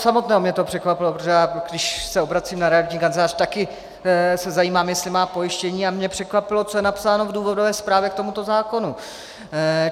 Samotného mě to překvapilo, protože když se obracím na realitní kancelář, taky se zajímám, jestli má pojištění, a mě překvapilo, co je napsáno v důvodové zprávě k tomuto zákonu.